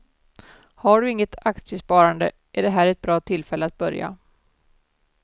Har du inget aktiesparande är det här ett bra tillfälle att börja.